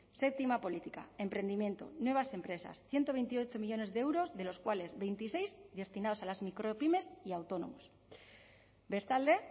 séptima política emprendimiento nuevas empresas ciento veintiocho millónes de euros de los cuales veintiséis destinados a las micropymes y autónomos bestalde